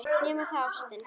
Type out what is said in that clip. Nema þá ástin.